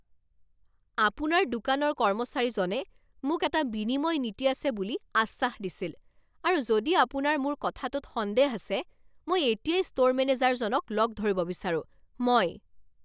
আপোনাৰ দোকানৰ কৰ্মচাৰীজনে মোক এটা বিনিময় নীতি আছে বুলি আশ্বাস দিছিল আৰু যদি আপোনাৰ মোৰ কথাটোত সন্দেহ আছে মই এতিয়াই ষ্ট'ৰ মেনেজাৰজনক লগ ধৰিব বিচাৰোঁ। মই